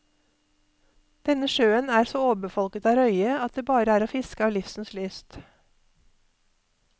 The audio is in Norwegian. Denne sjøen er så overbefolket av røye, at det bare er å fiske av livsens lyst.